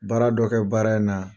Baara dɔ kɛ baara in na.